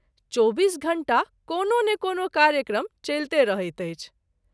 चौबीस घंटा कोनो ने कोनो कार्यक्रम चैलते रहैत अछि।